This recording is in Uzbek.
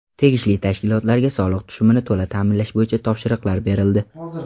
Tegishli tashkilotlarga soliq tushumini to‘la ta’minlash bo‘yicha topshiriqlar berildi.